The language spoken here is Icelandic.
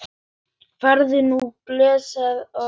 Farðu nú blessuð og sæl.